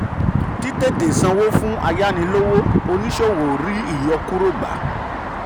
tí tètè sanwó fún ayánilówó oníṣòwò rí ìyọkúrò gbà.